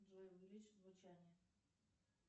джой увеличь звучание